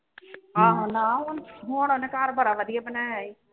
ਨਾ ਹੁਣ ਹੁਣ ਉਹਨੇ ਘਰ ਬੜਾ ਵਧੀਆ ਬਣਾਇਆ ਈ